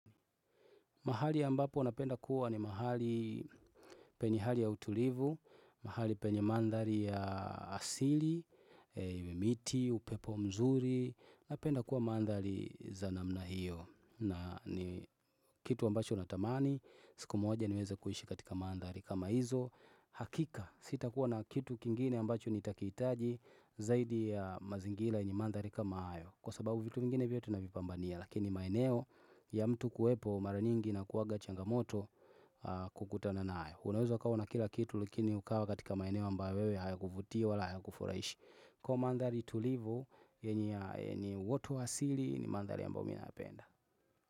Mahali ambapo napenda kuwa ni mahali penye hali ya utulivu, mahali penye mandhari ya asili, miti, upepo mzuri, napenda kuwa mandhari za namna hiyo. Na ni kitu ambacho natamani, siku moja niweza kuishi katika mandhari kama hizo, hakika sitakuwa na kitu kingine ambacho nitakiitaji zaidi ya mazingila yenye mandhari kama hayo. Kwa sababu vitu vingine vyote tunavipambania lakini maeneo ya mtu kuwepo mara nyingi inakuwaga changamoto kukutana nayo Unaweza ukawa una kila kitu lakini ukawa katika maeneo ambayo wewe hayakuvutii wala hayakufuraishi Kwa ivo mandhari tulivu yenye ni watu asili ni mandhalri ambayo mimi nayapenda.